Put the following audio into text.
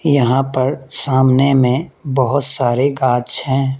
यहां पर सामने में बहोत सारे गाछ हैं।